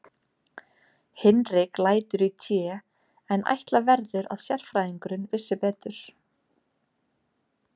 Hinrik lætur í té, en ætla verður að sérfræðingurinn vissi betur.